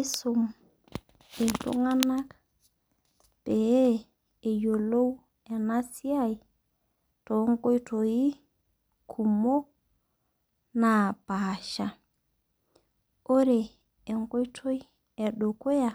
Isum iltung'anak peyiolou enasiai tonkoitoii kumok napaasha. Ore enkoitoi edukuya,